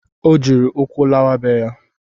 Ọ jiri ụkwụ lawa be ya